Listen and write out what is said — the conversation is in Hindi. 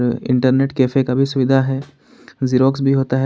इंटरनेट कैफे कभी सुविधा है जेरॉक्स भी होता है।